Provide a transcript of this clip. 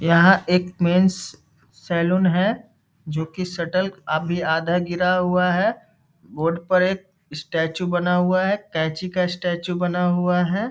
''यहाँ एक men's salon है जो कि शटर अभी आधा गिरा हुआ है बोर्ड पर एक स्टेचू बना हुआ है कैंची का स्टेचू बना हुआ है ।''